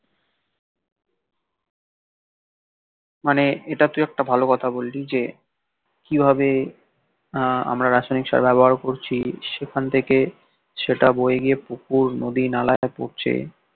মানে এটা তুই একটা ভালো কথা বললি যে কিভাবে আহ আমরা রাসায়নিক সার ব্যবহার করছি সেখান থেকে সেটা বয়ে গিয়ে পুকুর নদী নালায় পড়ছে